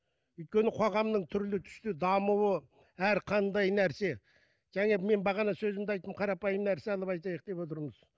өйткені қоғамның түрлі түсті дамуы әр қандай нәрсе және мен бағана сөзімде айттым қарапайым нәрсе алып айтайық деп отырмыз